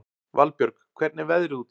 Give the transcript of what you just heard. Valbjörg, hvernig er veðrið úti?